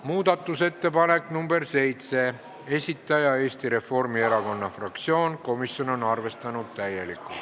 Muudatusettepaneku nr 7 esitaja on Eesti Reformierakonna fraktsioon, komisjon on täielikult arvestanud.